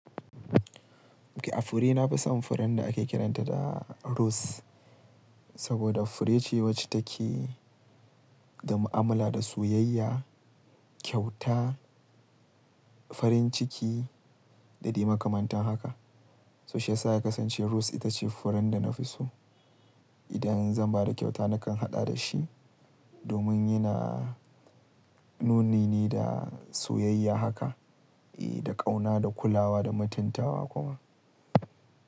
A fure nafi son furen da ake kiranta da rose. Saboda fure ce wacce take da mu'amala da soyayya, kyauta, farin ciki da dai makamantan haka. So shi ya sa ya kasance rose ita ce furen da na fi so. Idan zan ba da kyauta nakan haɗa da shi domin yana nuni ne da soyayya haka, eh da ƙauna, da kulawa da mutuntawa kuma.